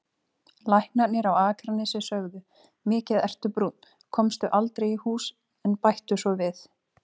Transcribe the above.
Læknarnir á Akranesi sögðu: Mikið ertu brúnn, komstu aldrei í hús, en bættu svo við